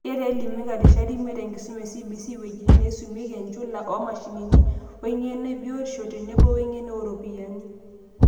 Keeta Elimika irishat imiet, enkisuma eCBC, wejitin neisumieki, enchula oomashinini, weng'eno ebiotisho, tenebo weng'eno ooropiyani.